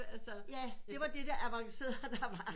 Ja det var det avancerede der var